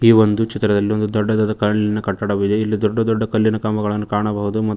ಒಂದು ಚಿತ್ರದಲ್ಲಿ ಒಂದು ದೊಡ್ಡದಾದ ಕಲ್ಲಿನ ಕಟ್ಟಡವಿದೆ ಇಲ್ಲಿ ದೊಡ್ಡ ದೊಡ್ಡ ಕಲ್ಲಿನ ಕಂಬಗಳನ್ನು ಕಾಣಬಹುದು ಮತ್ತು--